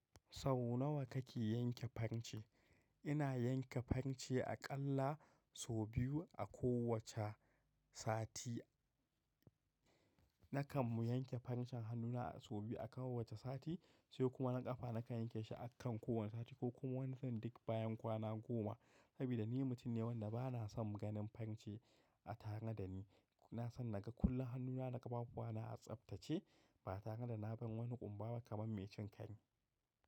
Sau nawa kake yanke farce? Ina yanke farce aƙalla sau biyu a kowace sati. Nakan yanke farcen hannuna sau biyu a kowace sati, sai kuma naƙafa nakan yanke shi akan kowane sati ko kuma duk bayan kwana goma. Sabida ni mutum ne wanda ba na son ganin farce a tare da ni. Ina so naga kullum hannuna da ƙafafuwana a tsaftace ba tare da na bar wani ƙumbaba kamar mai cin kare.